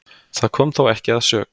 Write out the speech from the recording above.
Það kom þó ekki að sök